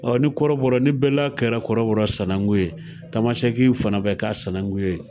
Ɔn ni kɔrɔbɔrɔ ni bɛla kɛla kɔrɔbɔrɔ sanakun ye, tamasɛki fana be k'a sanakun ye.